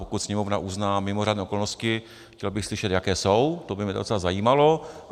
Pokud Sněmovna uzná mimořádné okolnosti - chtěl bych slyšet, jaké jsou, to by mě docela zajímalo.